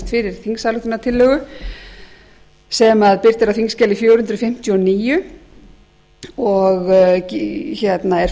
fyrir þingsályktunartillögu sem birt er á þingskjali fjögur hundruð fimmtíu og níu og er